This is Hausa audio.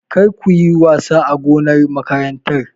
Kar kuyi wasa a gonar makarantar!